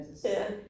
Ja